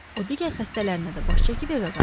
O digər xəstələrinə də baş çəkib evə qayıtdı.